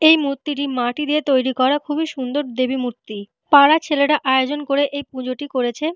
এই মূর্তিটি মাটি দিয়ে তৈরি করা খুবই সুন্দর দেবী মূর্তি। পাড়ার ছেলেরা আয়োজন করে এই পুজোটি করেছে।